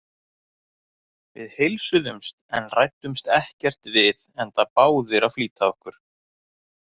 Við heilsuðumst en ræddumst ekkert við enda báðir að flýta okkur.